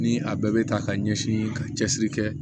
Ni a bɛɛ bɛ ta ka ɲɛsin ka cɛsiri kɛ